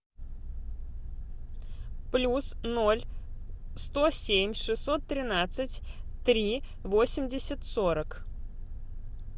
плюс ноль сто семь шестьсот тринадцать три восемьдесят сорок